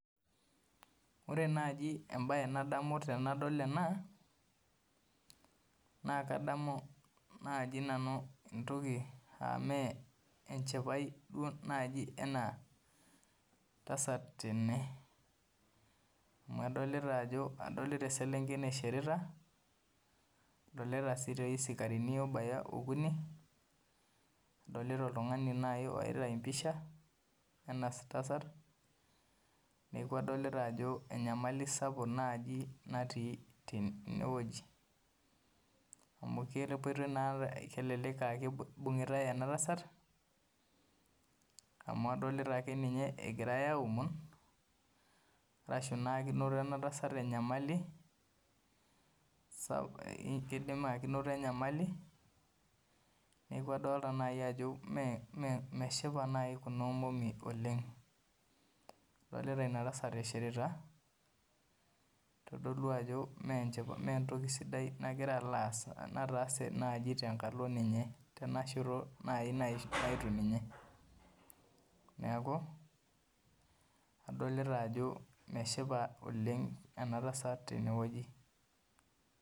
Ore naaji embaye nadamu tenadol ena naa kadamu naaji nani entoki enaa enchipae ena tasata tene amu adolita eselenkei naishirita nadolita isikarini nadolita oltung'ani oyaita empisha ena tasat neeku adolita ajo Enyamali naaji napuku tene wueji amu adolita enaa keyaitai ena tasat amu adolita akeninye egirai aaomon ashuu eneoto ana tasta Enyamali neeku adolita ajo meshipa kuna omomi oleng adolita ena tasat eishirita keitodolu ajo mee entomi nataase tenkalo. Ninye neeku adolita ajo meshipa ena tasat oleng tenewueji